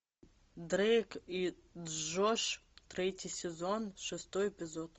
дрейк и джош третий сезон шестой эпизод